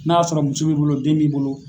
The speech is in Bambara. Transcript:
N'a y'a sɔrɔ muso b'i bolo den b'i bolo